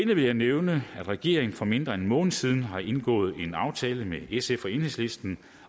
vil jeg nævne at regeringen for mindre end en måned siden har indgået en aftale med sf og enhedslisten